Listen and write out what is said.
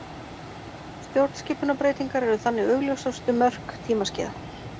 Stjórnskipunarbreytingar eru þannig augljósustu mörk tímaskeiða.